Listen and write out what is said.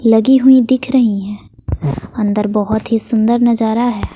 लगी हुई दिख रही हैं अंदर बहुत ही सुंदर नजारा है।